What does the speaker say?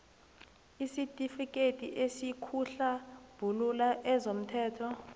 isitifikethi esikuhlambulula kezomthelo